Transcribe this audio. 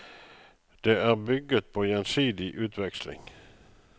Det er bygget på gjensidig utveksling.